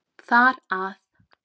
Þar að